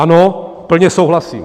Ano, plně souhlasím.